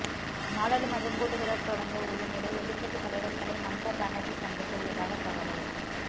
நாடாளுமன்ற கூட்டத்தொடர் தொடங்க உள்ள நிலையில் எதிர்க்கட்சி தலைவர்களை மம்தா பானர்ஜி சந்திக்க உள்ளதாக தகவல்